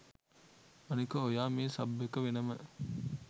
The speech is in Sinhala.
අනික ඔයා මේ සබ් එක වෙනම